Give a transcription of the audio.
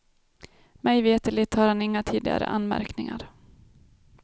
Mig veterligt har han inga tidigare anmärkningar.